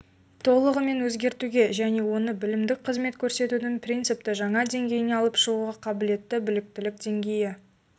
толығымен өзгертуге және оны білімдік қызмет көрсетудің принципті жаңа деңгейіне алып шығуға қабілетті біліктілік деңгейі